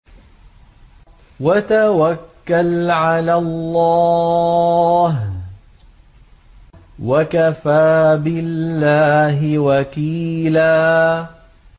وَتَوَكَّلْ عَلَى اللَّهِ ۚ وَكَفَىٰ بِاللَّهِ وَكِيلًا